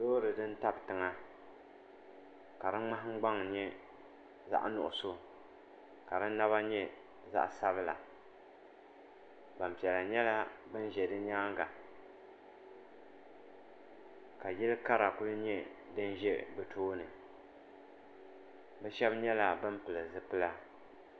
loori din tabi tiŋa ka di ŋmahangbaŋ nyɛ zaɣ nuɣso ka di naba nyɛ zaɣ sabila gbanpiɛla nyɛla bin ʒɛ di nyaanga ka yili kara ku nyɛ din ʒɛ bi tooni bi shab nyɛla bin pili zipila